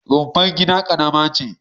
Rumfar gida ƙarama ce.